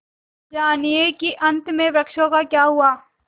जानिए कि अंत में वृक्षों का क्या हुआ